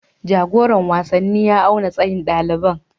Jagoran wasanni ya auna tsayin ɗaliban